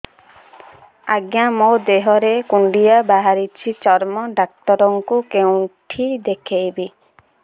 ଆଜ୍ଞା ମୋ ଦେହ ରେ କୁଣ୍ଡିଆ ବାହାରିଛି ଚର୍ମ ଡାକ୍ତର ଙ୍କୁ କେଉଁଠି ଦେଖେଇମି